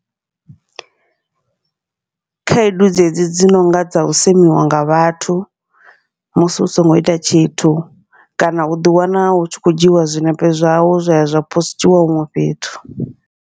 Khaedu dzedzi dzi nonga dza u semiwa nga vhathu, musi u songo ita tshithu kana uḓi wana hu tshi khou dzhiiwa zwiṋepe zwawe zwa ya zwa postiwa huṅwe fhethu.